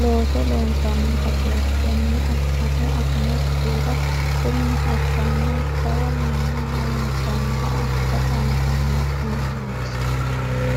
loosso loonsanni baseti tene afinohu afinokkihura qummi assanna jawa manna harunsanoha afira dandaano kuni manchi.